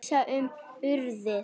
Hann hugsaði um Urði.